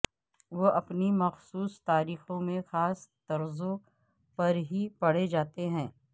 وہ اپنی مخصوص تاریخوں میں خاص طرزوں پر ہی پڑھے جاتے ہیں